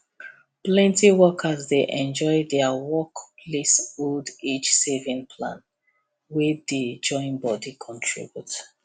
plenty workers dey enjoy their work place old age saving plan wey dey join body contribute